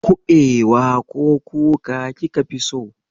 Kuɓewa ko kuka kika fi so?